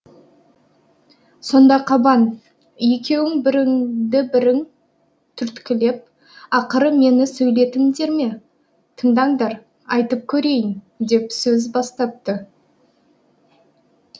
сонда қабан екеуің біріңді бірің түрткілеп ақыры мені сөйлетіңдер ме тыңдаңдар айтып көрейін деп сөз бастапты